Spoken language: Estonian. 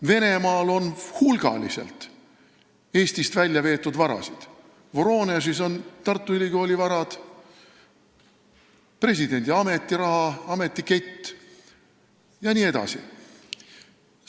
Venemaal on hulgaliselt Eestist väljaveetud varasid, Voronežis on Tartu Ülikooli varad, presidendi ametiraha, ametikett jne.